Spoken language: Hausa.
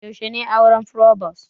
Yaushe ne auren frobos?